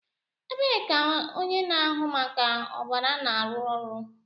Ebee ka onye na-ahụ maka ọbara na-arụ ọrụ